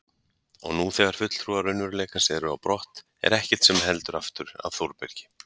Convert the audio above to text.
Og nú þegar fulltrúar raunveruleikans eru á brott er ekkert sem heldur aftur af Þórbergi.